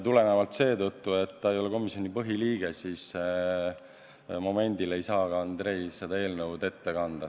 Tulenevalt sellest, et ta ei ole komisjoni põhiliige, ei saa momendil Andrei seda eelnõu ette kanda.